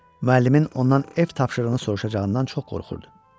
Müəllimin ondan ev tapşırığını soruşacağından çox qorxurdu.